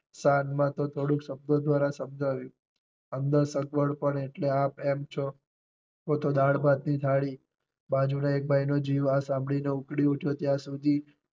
શાન માં તો થોડું શબ્દો દ્વારા સમજાવ્યું. અંદર સગવડ પડે એટલે આપ એમ છો કો તો દાળ ભાત ની થાળી બાજુ ના એક ભાઈ નો જીવ આ સાંભળી ને ઉપડી ઉઠ્યો ત્યાં સુધી